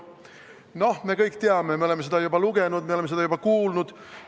Noh, me kõik seda teame, me oleme seda juba lugenud, me oleme seda juba kuulnud.